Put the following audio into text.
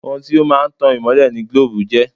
Ohun tí ó máa ń tan ìmọ́lẹ̀ ni gílóòbù jẹ́